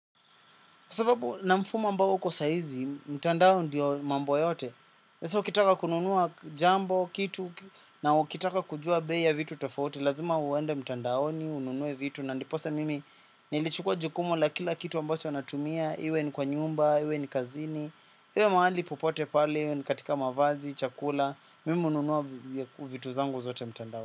Kwa sababu na mfumo ambao uko saizi, mtandao ndiyo mambo yote. Sasa ukitaka kununua jambo, kitu, na ukitaka kujua bei ya vitu tofauti, lazima uende mtandaoni, ununue vitu, na ndiposa mimi nilichukua jukumu la kila kitu ambacho natumia, iwe ni kwa nyumba, iwe ni kazini, iwe mahali popote pale, iwe ni katika mavazi, chakula, mimi hununua vitu zangu zote mtandao.